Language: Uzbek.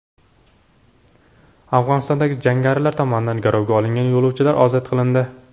Afg‘onistonda jangarilar tomonidan garovga olingan yo‘lovchilar ozod qilindi.